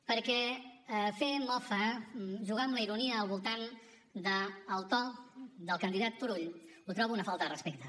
perquè fer mofa jugar amb la ironia al voltant del to del candidat turull ho trobo un falta de respecte